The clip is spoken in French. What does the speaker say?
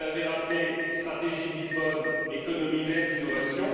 Vous l'avez rappelé, stratégie de Lisbonne, économie verte, innovation.